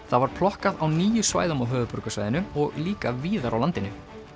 það var plokkað á níu svæðum á höfuðborgarsvæðinu og líka víðar á landinu